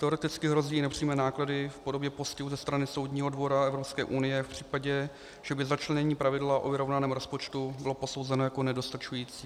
Teoreticky hrozí i nepřímé náklady v podobě postihu ze strany Soudního dvora EU v případě, že by začlenění pravidla o vyrovnaném rozpočtu bylo posouzeno jako nedostačující.